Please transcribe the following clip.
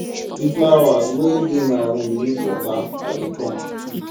the flowers wey dey my room need water i dey come